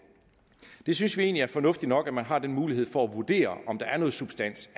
vi synes egentlig det er fornuftigt nok at man har den mulighed for at vurdere om der er noget substans